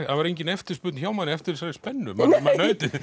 það var engin eftirspurn hjá manni eftir þessari spennu maður naut